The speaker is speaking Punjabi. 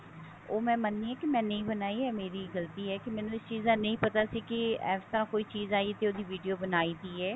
ਉਹ ਮੈਂ ਮਨਦੀ ਹਾਂ ਕਿ ਨਹੀਂ ਬਣਾਈ ਇਹ ਮੇਰੀ ਗਲਤੀ ਹੈ ਕਿ ਮੈਨੂੰ ਇਸ ਚੀਜ ਦਾ ਨਹੀਂ ਪਤਾ ਸੀ ਕਿ ਇਸ ਤਰ੍ਹਾਂ ਕੋਈ ਚੀਜ ਆਈ ਤੇ ਉਹਦੀ video ਬਣਾਈ ਦੀ ਹੈ